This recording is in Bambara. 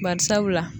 Bari sabula